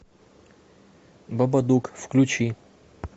бабадук включи